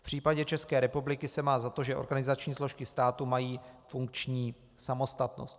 V případě České republiky se má za to, že organizační složky státu mají funkční samostatnost.